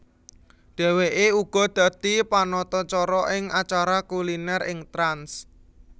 Dheweke uga dadi panatacara ing acara kuliner ing Trans